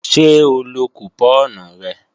Ṣé ó lọ kùpọ́ọ̀nù rẹ̀